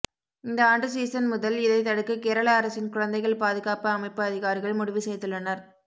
இந்த ஆண்டு சீசன் முதல் இதை தடுக்க கேரள அரசின் குழந்தைகள் பாதுகாப்பு அமைப்பு அதிகாரிகள் முடிவு செய்துள்ளனர்